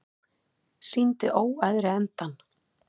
Sýndi óæðri endann